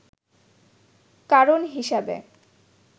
কারণ হিসাবে